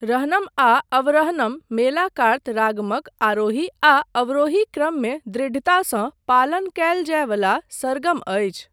रहनम आ अवरहनम मेलाकार्त रागमक आरोही आ अवरोही क्रममे दृढ़तासँ पालन कयल जाय वला सरगम अछि।